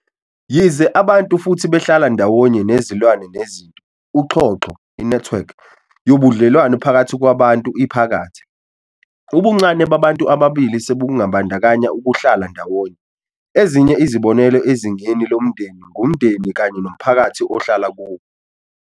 Yize abantu futhi behlala ndawonye nezilwane nezinto, uxhoxho "i-network" yobudlelwano phakathi kwabantu iphakathi. Ubuncane babantu ababili sebungabandakanya ukuhlala ndawonye, ​​ezinye izibonelo ezingeni lomndeni ngumndeni kanye nomphakathi ohlala kuwo.